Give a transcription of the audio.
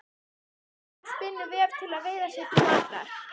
Köngulóin spinnur vef til að veiða sér til matar.